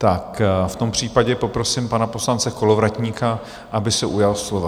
Tak v tom případě poprosím pana poslance Kolovratníka, aby se ujal slova.